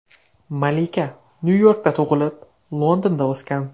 Malika Nyu-Yorkda tug‘ilib, Londonda o‘sgan.